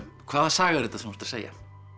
hvaða saga er þetta sem þú ert að segja